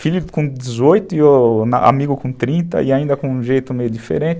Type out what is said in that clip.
Filho com dezoito e amigo com trinta e ainda com um jeito meio diferente.